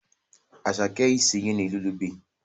Asake is asinging a lullaby